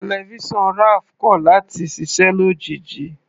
Tẹlifísàn Raph kọ̀ láti ṣiṣẹ́ lójijì.